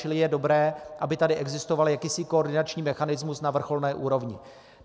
Čili je dobré, aby tady existoval jakýsi koordinační mechanismus na vrcholné úrovni.